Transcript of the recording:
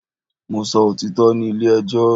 Mo sọ òtítọ́ ní ilé ẹjọ́